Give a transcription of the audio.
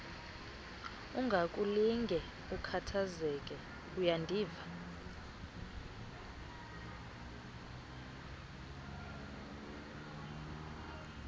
ungakulinge ukhathazeke uyandiva